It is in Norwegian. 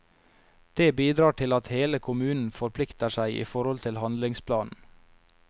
Det bidrar til at hele kommunen forplikter seg i forhold til handlingsplanen.